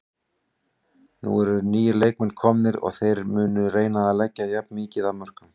Nú eru nýir leikmenn komnir og þeir munu reyna að leggja jafn mikið af mörkum.